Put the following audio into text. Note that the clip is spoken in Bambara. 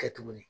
Kɛ tuguni